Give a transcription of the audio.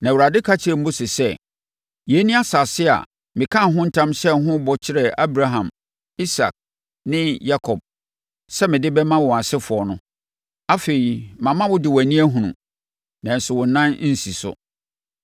Na Awurade ka kyerɛɛ Mose sɛ, “Yei ne asase a mekaa ntam hyɛɛ ho bɔ kyerɛɛ Abraham, Isak ne Yakob sɛ mede bɛma wɔn asefoɔ no. Afei, mama wo de wʼani ahunu, nanso wo nan rensi so.”